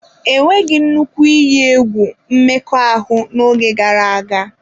E nweghị nnukwu iyi egwu mmekọahụ n'oge gara aga.